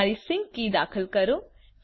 તમારી sync key દાખલ કરો